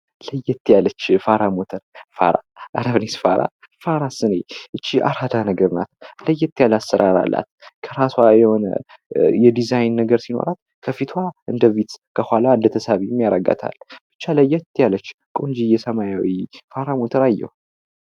ለየት ያለች ፋራ ሞርተ ፋራ እረ ፋራስ እኔ እቺስ አራዳ ነገር ናት፤ ለየት ያለ አሰራር አላት። ከራሷ የሆነ የዲዛይን ነገር ሲኖራት ከፊቷ እንደ ቪትዝ ከኋላዋ እንደተሳቢም ያደርጋታል። ብቻ ለየት ያለች ቆንጅዬ ሰማያዊው ፋራ ሞተር አየሁ።